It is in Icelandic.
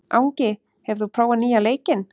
Angi, hefur þú prófað nýja leikinn?